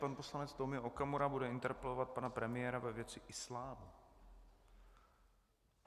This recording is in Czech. Pan poslanec Tomio Okamura bude interpelovat pana premiéra ve věci islámu.